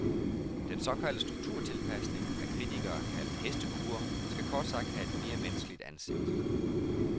Den såkaldte strukturtilpasning, af kritikere kaldet hestekure, skal kort sagt have et mere menneskeligt ansigt.